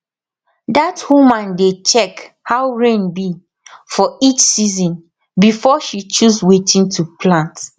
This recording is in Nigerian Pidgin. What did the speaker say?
dat woman dey check how rain be for each season before she choose wetin to plant